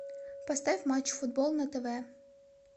поставь матч футбол на тв